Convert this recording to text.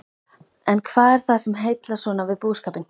En hvað er það sem heillar svona við búskapinn?